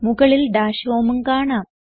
മുകളിൽ ഡാഷ് homeഉം കാണാം